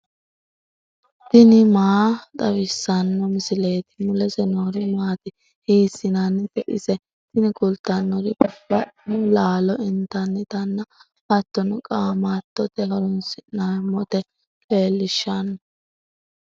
tini maa xawissanno misileeti ? mulese noori maati ? hiissinannite ise ? tini kultannori babbaxxino laalo intannitanna hattono qaamattote horoonsi'neemmota leellishshanno.